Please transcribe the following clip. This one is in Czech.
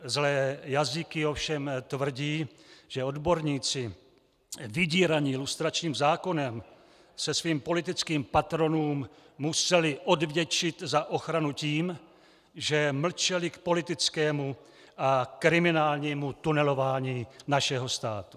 Zlé jazyky ovšem tvrdí, že odborníci vydíraní lustračním zákonem se svým politickým patronům museli odvděčit za ochranu tím, že mlčeli k politickému a kriminálnímu tunelování našeho státu.